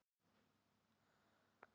Gerið svo vel!